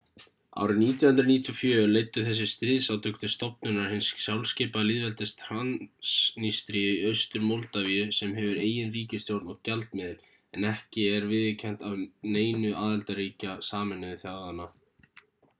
árið 1994 leiddu þessi stríðsátök til stofnunar hins sjálfskipaða lýðveldis transnístríu í austur-moldavíu sem hefur eigin ríkisstjórn og gjaldmiðil en er ekki viðurkennt af neinu aðildarríkja sameinuðu þjóðanna